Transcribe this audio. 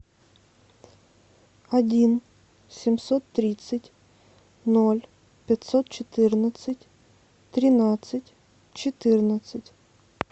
один семьсот тридцать ноль пятьсот четырнадцать тринадцать четырнадцать